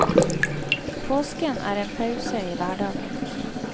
Påsken er en pause i hverdagen.